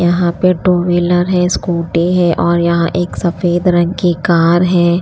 यहाँ पे two wheeler है स्कूटी है और यहाँ एक सफेद रंग की कार है।